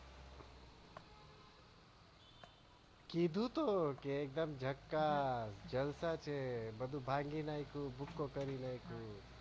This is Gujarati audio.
કીધુ તો કે એકદમ જાકાસ જલસા છે બધું ભાંગી નાખ્યું બૂકો કરી નાખ્યો